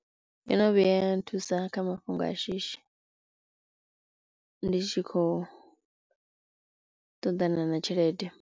Yo no vhuya nthusa kha mafhungo a shishi ndi tshi khou ṱoḓana na tshelede.